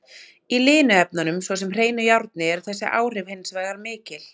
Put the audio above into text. Í linu efnunum, svo sem hreinu járni, eru þessi áhrif hins vegar mikil.